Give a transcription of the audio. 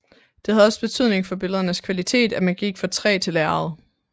Det havde også betydning for billedernes kvalitet at man gik fra træ til lærred